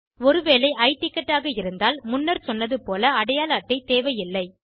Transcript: ஒருவேளை i ticket ஆக இருந்தால் முன்னர் சொன்னது போல் அடையாள அட்டை தேவையில்லை